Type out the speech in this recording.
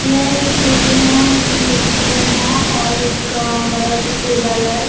यह एक केबिन है इसमें दो चेयर हैं और एक बड़ा सा टेबल है।